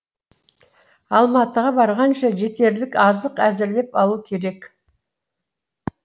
алматыға барғанша жетерлік азық әзірлеп алу керек